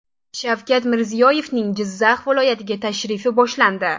Shavkat Mirziyoyevning Jizzax viloyatiga tashrifi boshlandi.